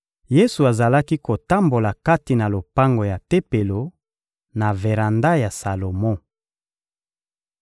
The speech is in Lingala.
Yesu azalaki kotambola kati na lopango ya Tempelo, na veranda ya Salomo.